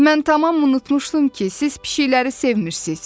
Mən tamam unutmuşdum ki, siz pişiklərə sevmirsiniz.